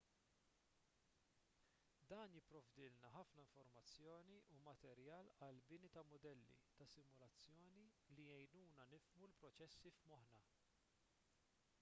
dan jipprovdilna ħafna informazzjoni u materjal għall-bini ta' mudelli ta' simulazzjoni li jgħinuna nifhmu l-proċessi f'moħħna